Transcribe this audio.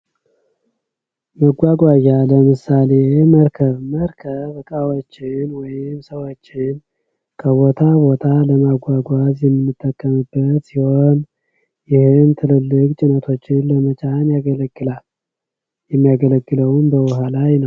መጓጉያ ለምሳሌ መርከብ፤ መርከብ እቃዎችን ወይም ሰዎች ከቦታ ቦታ ለማጓጓዝ የምንጠቀምበት ሲሆን ይህም ትልልቅ ጭነቶችን ለመጫን ያገለግላል። የሚያገለግለውም በኋላ ነው።